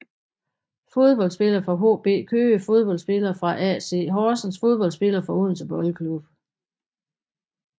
Fodboldspillere fra HB Køge Fodboldspillere fra AC Horsens Fodboldspillere fra Odense Boldklub